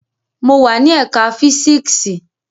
Mo wa ni ẹka fisiksi